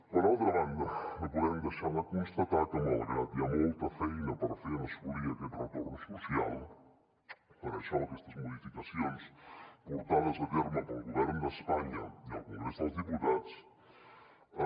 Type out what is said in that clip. per altra banda no podem deixar de constatar que malgrat que hi ha molta feina per fer en assolir aquest retorn social aquestes modificacions portades a terme pel govern d’espanya i el congrés dels diputats